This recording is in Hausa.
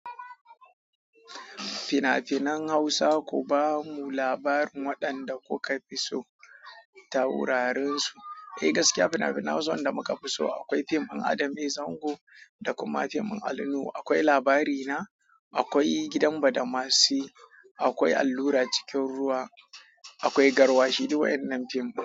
Fina-finan Hausa ku ba mu labarin waɗanda kuka fi so ta wurarensu. Eh gaskiya fina-finan Hausa wanda muka fi so akwai fim din Adam A. Zango da kuma fim in Ali Nuhu, akwai Labarina, akwai gidan Badamasi, akwai Allura cikin ruwa, akwai Garwashi duk waennan fim din.